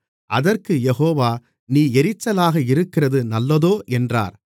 அதற்குக் யெகோவா நீ எரிச்சலாக இருக்கிறது நல்லதோ என்றார்